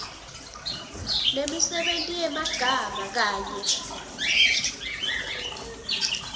nemisebenti yemagama kanye